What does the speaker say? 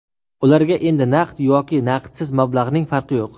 Ularga endi naqd yoki naqdsiz mablag‘ning farqi yo‘q.